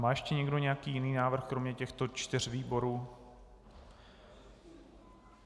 Má ještě někdo nějaký jiný návrh kromě těchto čtyř výborů?